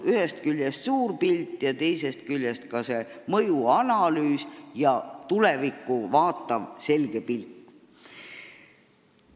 Ühest küljest puudub meil suur pilt, teisest küljest ka mõjuanalüüs ja tulevikku vaatav selge pilk.